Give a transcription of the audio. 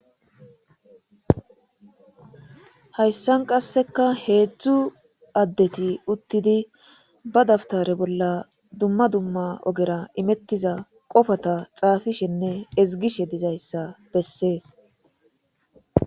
Hayssan qasseka heedzdzu addeti uttidi ba dabtare bolla dumma dumma ogera imettiza qofata xaafishenne ezgishe dizayssa bessees.